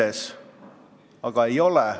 Aga seda ei ole.